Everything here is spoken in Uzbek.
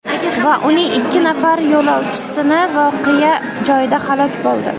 va uning ikki nafar yo‘lovchisi voqea joyida halok bo‘ldi.